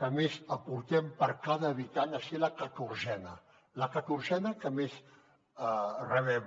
que més aportem per cada habitant a ser la catorzena la catorzena que més rebem